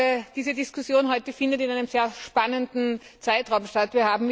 Ich glaube, diese Diskussion heute findet in einem sehr spannenden Zeitraum statt.